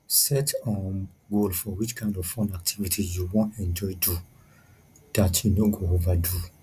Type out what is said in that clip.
set um goal for which kind of fun activity you want enjoy do dat you no go over do